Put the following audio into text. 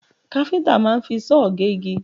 Káfíńtà máa ń fi sọ́ọ̀ gégi